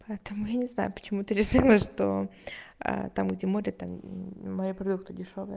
поэтому я не знаю почему ты решила что там где море там море продукты дешёвые